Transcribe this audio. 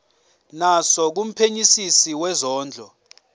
naso kumphenyisisi wezondlo